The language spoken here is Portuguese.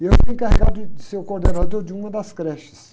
E eu fui encarregado de, de ser o coordenador de uma das creches.